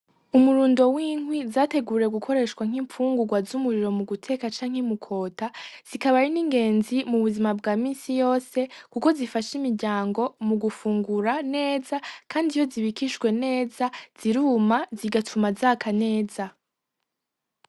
Umurundo w'inkwi zateguriwe gukoreshwa nk'imfungurwa z'umuriro mu guteka cane mu kwota zikaba ari ingenzi mu buzima bwa minsi yose kuko zifasha imiryango mu gufungura neza kandi iyo zibikishwe neza ziruma zigatuma zaka neza